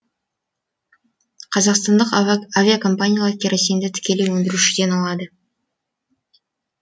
қазақстандық авиакомпаниялар керосинді тікелей өндірушіден алады